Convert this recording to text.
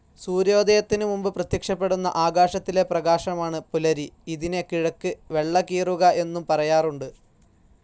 സൂര്യോദയത്തിനു മുൻപ് പ്രത്യക്ഷപ്പെടുന്ന ആകാശത്തിലെ പ്രകാശമാണ് പുലരി. ഇതിനെ കിഴക്ക് വെള്ളകീറുക എന്നും പറയാറുണ്ട്.